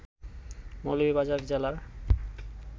মৌলভীবাজার জেলার